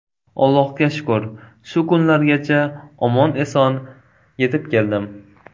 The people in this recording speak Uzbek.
Allohga shukr, shu kunlargacha omon-eson yetib keldim.